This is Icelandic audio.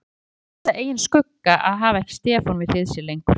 Það yrði einsog að missa eigin skugga að hafa ekki Stefán við hlið sér lengur.